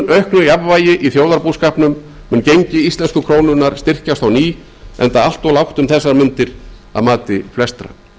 auknu jafnvægi í þjóðarbúskapnum mun gengi íslensku krónunnar styrkjast á ný enda allt of lágt um þessar mundir að mati flestra